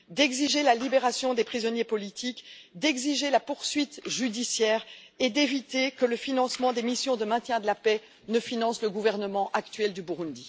d'exiger la libération des prisonniers politiques, d'exiger la poursuite judiciaire et d'éviter que le financement des missions de maintien de la paix ne finance le gouvernement actuel du Burundi.